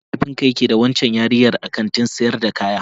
Me mahaifinka yake yi da waccan yarinyar a kantin sayar da kaya?